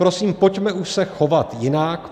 Prosím, pojďme už se chovat jinak.